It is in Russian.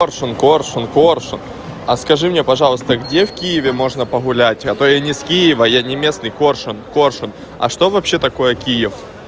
коршун коршун а скажи мне пожалуйста где в киеве можно погулять а то я не с киева я не местный коршун коршун а что вообще такое киев